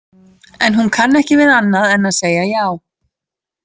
En hún kann ekki við annað en að segja já.